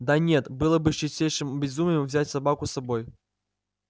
да нет было бы чистейшим безумием взять собаку с собой